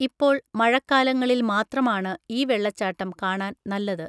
ഇപ്പോൾ, മഴക്കാലങ്ങളിൽ മാത്രമാണ് ഈ വെള്ളച്ചാട്ടം കാണാൻ നല്ലത്.